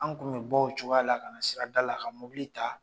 An kun bɛ bɔ o cogoya la ka na sirada la ka mobili ta